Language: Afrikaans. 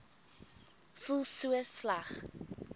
voel so sleg